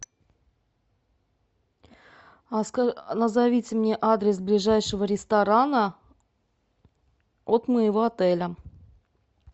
назовите мне адрес ближайшего ресторана от моего отеля